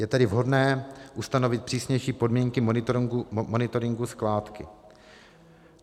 Je tedy vhodné ustanovit přísnější podmínky monitoringu skládky.